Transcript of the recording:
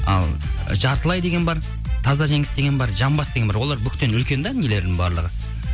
ал жартылай деген бар таза жеңіс деген бар жамбас деген бар олар буктен үлкен де нелердің барлығы